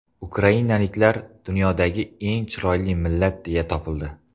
Ukrainaliklar dunyodagi eng chiroyli millat deya topildi.